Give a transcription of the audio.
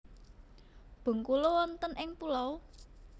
Bengkulu wonten ing pulau?